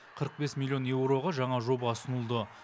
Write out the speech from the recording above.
қырық бес миллион еуроға жаңа жоба ұсынылды